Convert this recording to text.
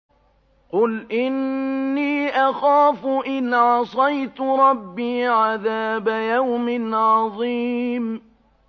قُلْ إِنِّي أَخَافُ إِنْ عَصَيْتُ رَبِّي عَذَابَ يَوْمٍ عَظِيمٍ